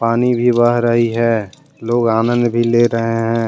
पानी भी बह रही है। लोग आनंद भी ले रहे हैं।